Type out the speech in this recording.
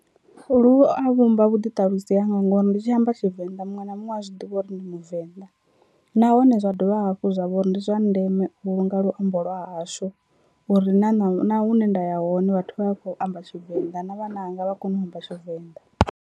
Lu a vhumba vhuḓiṱalusi hanga ngori ndi tshi amba Tshivenda muṅwe na muṅwe u a zwiḓivha uri ndi muvenḓa, nahone zwa dovha hafhu zwa vha uri ndi zwa ndeme u vhulunga luambo lwa hashu uri na na na hune nda ya hone vhathu vha vha kho amba Tshivenḓa na vhananga vha kone u amba Tshivenḓa.